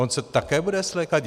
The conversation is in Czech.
On se také bude svlékat?